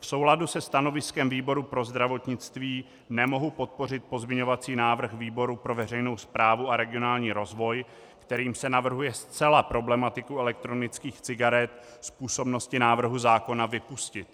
V souladu se stanoviskem výboru pro zdravotnictví nemohu podpořit pozměňovací návrh výboru pro veřejnou správu a regionální rozvoj, kterým se navrhuje zcela problematiku elektronických cigaret z působnosti návrhu zákona vypustit.